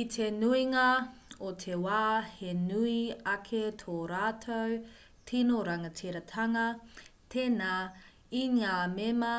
i te nuinga o te wā he nui ake tō rātou tino rangatiratanga tēnā i ngā mema